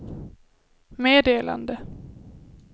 meddelade